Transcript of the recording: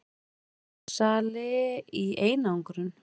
Dópsali í einangrun.